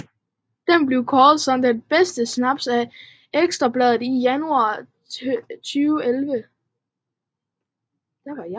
Den er blevet kåret som den bedste snaps af Ekstra Bladet i januar 2011